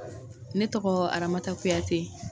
Ne tɔgɔ Aramata Kuyate.